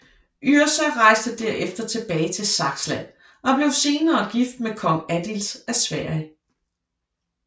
Yrsa rejste derefter tilbage til Saksland og blev senere gift med kong Adils af Sverige